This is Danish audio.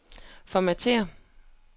formatér